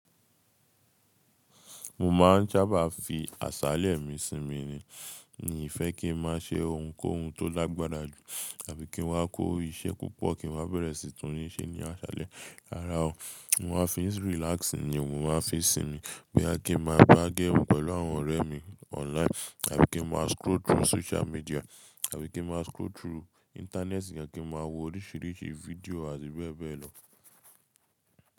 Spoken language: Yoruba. Mo ma ń sábá fi àsàlé mi sinmi ni. N o kii fẹ́ kí n máa ṣe ohunkóhun tó lagbara jù, àbí kí n wá kó iṣẹ́ púpọ̀ kí n wá bẹ̀rẹ̀ síi túnle se ní àṣàlé. Rárá o. Mo máa fi relax ni mo máa fi sinmi. Boya kí n máa gbá game pẹ̀lú àwọn ọ̀rẹ́ mi online, àbí kí n máa scroll through social media, àbí kí n máa scroll through internet nìkan, kí n máa wo oríṣìíríṣìí video àti bẹ́ẹ̀ bẹ́ẹ̀ lọ.